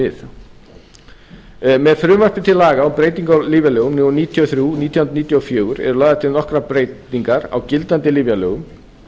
við með frumvarpi til laga um breytingu á lyfjalögum númer níutíu og þrjú nítján hundruð níutíu og fjögur eru lagðar til nokkrar breytingar á gildandi lyfjalögum